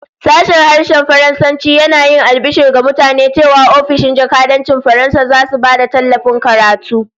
Sashen Harshen Faransanci yana yin albishir ga mutane cewa ofishin jakadancin Faransa zasu ba da tallafin karatu